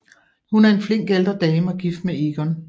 Hun er en flink ældre dame og gift med Egon